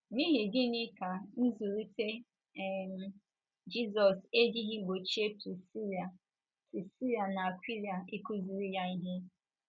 N’ihi gịnị ka zụlite um Jizọs ejighị gbochie Prisila Prisila na Akwịla ịkụziri ya ihe?